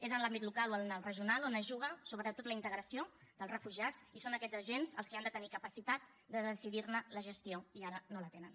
és en l’àmbit local o en el regional on es juga sobretot la integració dels refugiats i són aquests agents els que han de tenir capacitat de decidir ne la gestió i ara no la tenen